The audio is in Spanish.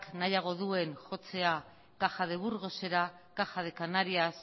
nahiago duen jotzea caja de burgosera caja de canarias